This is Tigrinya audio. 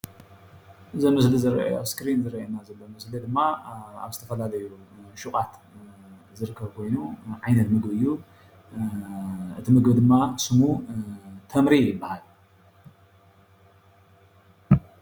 እዚ ኣብ እስክሪን ዝርአየና ዘሎ ድማ ኣብ ዝተፈላለዩ ሽቃት ዝርከብ ኮይኑ ዓይነት ምግቢ እዩ፡፡ እቲ ምግቢ ድማ ሽሙ ተምሪ ይባሃል፡፡